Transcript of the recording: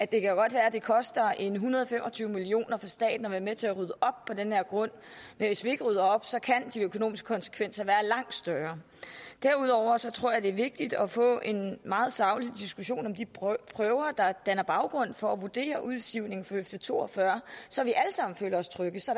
det kan godt være det koster en hundrede og fem og tyve million kroner for staten at være med til at rydde op på den her grund men hvis vi ikke rydder op så kan de økonomiske konsekvenser være langt større derudover tror jeg det er vigtigt at få en meget saglig diskussion af de prøver der danner baggrund for at vurdere udsivningen fra høfde to og fyrre så vi alle sammen føler os trygge så